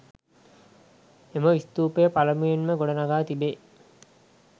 එම ස්ථූපය පළමුවෙන්ම ගොඩ නඟා තිබේ.